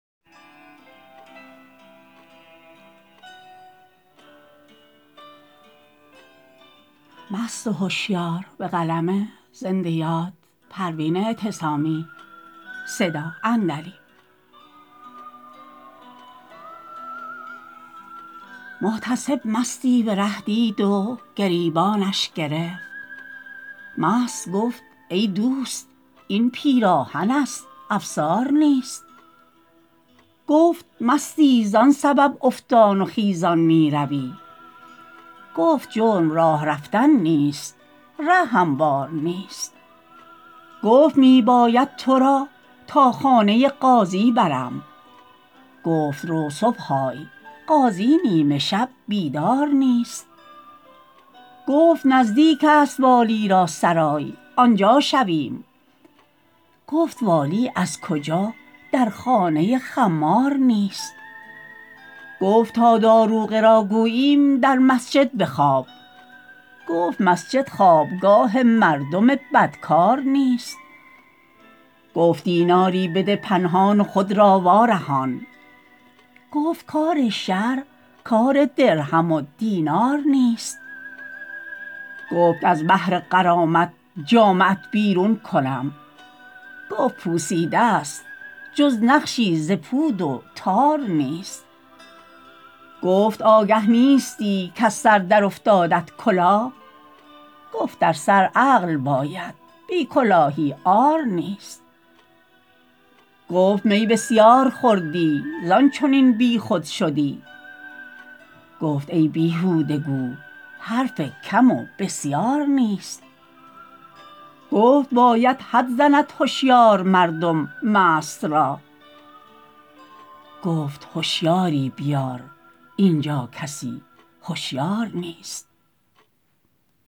محتسب مستی به ره دید و گریبانش گرفت مست گفت ای دوست این پیراهن است افسار نیست گفت مستی زان سبب افتان و خیزان میروی گفت جرم راه رفتن نیست ره هموار نیست گفت می باید تو را تا خانه قاضی برم گفت رو صبح آی قاضی نیمه شب بیدار نیست گفت نزدیک است والی را سرای آنجا شویم گفت والی از کجا در خانه خمار نیست گفت تا داروغه را گوییم در مسجد بخواب گفت مسجد خوابگاه مردم بدکار نیست گفت دیناری بده پنهان و خود را وارهان گفت کار شرع کار درهم و دینار نیست گفت از بهر غرامت جامه ات بیرون کنم گفت پوسیده ست جز نقشی ز پود و تار نیست گفت آگه نیستی کز سر در افتادت کلاه گفت در سر عقل باید بی کلاهی عار نیست گفت می بسیار خوردی زان چنین بیخود شدی گفت ای بیهوده گو حرف کم و بسیار نیست گفت باید حد زند هشیار مردم مست را گفت هشیاری بیار اینجا کسی هشیار نیست